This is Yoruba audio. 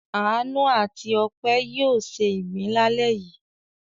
Àánú àti Ọpẹ́ yóò se ìgbín lálẹ́ yìí.